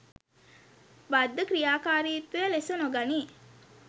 බද්ධ ක්‍රියාකාරීත්වය ලෙස නොගනී